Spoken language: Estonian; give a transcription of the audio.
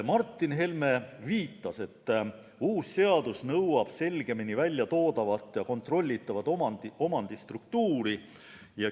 Martin Helme viitas, et uus seadus nõuab selgemini välja toodavat ja kontrollitavat omandistruktuuri.